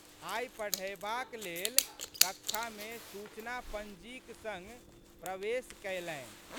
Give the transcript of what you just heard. आइ पढ़यबाक लेल कक्षामे सूचनापंजीक संग प्रवेश कयलनि।